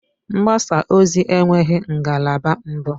Mgbasa ozi enweghị ngalaba mbụ